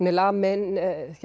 er lamin